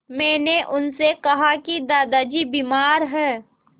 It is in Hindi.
मैंने उनसे कहा कि दादाजी बीमार हैं